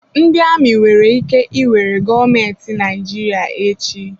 Ndị amị nwere ike iwere gọọmentị Naịjirịa echi.